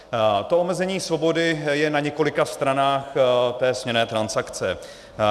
To omezení svobody je na několika stranách té směnné transakce.